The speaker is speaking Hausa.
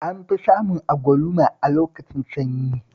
An fi samun agwluma a lokacin sanyi